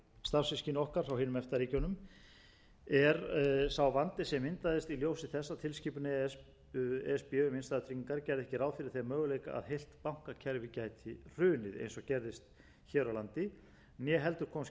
starfssystkini okkar frá hinum efta ríkjunum er sá vandi sem myndaðist í ljósi þess að tilskipun e s b um innstæðutryggingar gerði ekki ráð fyrir þeim möguleika að heilt bankakerfi gæti hrunið eins og gerðist hér á landi né heldur kom skýrt fram í henni